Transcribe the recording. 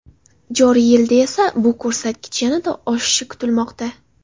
Joriy yilda esa bu ko‘rsatkich yanada oshishi kutilmoqda.